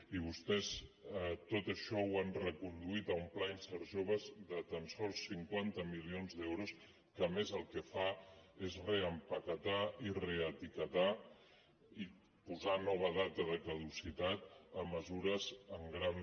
i vostès tot això ho han reconduït a un pla inserjoves de tan sols cinquanta milions d’euros que a més el que fa és reempaquetar i reetiquetar i posar nova data de caducitat a mesures en gran